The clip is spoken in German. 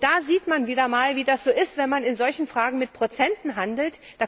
Da sieht man wieder einmal, wie das so ist, wenn man in solchen Fragen mit Prozenten handelt.